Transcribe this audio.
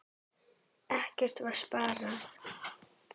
Ekkert var sparað.